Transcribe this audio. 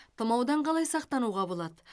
тұмаудан қалай сақтануға болады